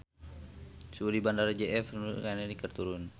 Suhu di Bandara J F Kennedy keur turun